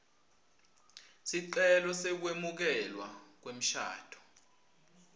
sicelo sekwemukelwa kwemshado